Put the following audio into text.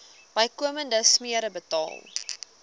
bykomende smere betaal